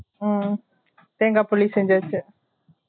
உம் தேங்கா புளி செஞ்சாச்சு